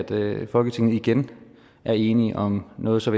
at folketinget igen er enige om noget så